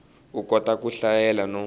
u kota ku hlayela no